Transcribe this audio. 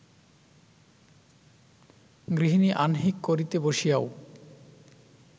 গৃহিণী আহ্নিক করিতে বসিয়াও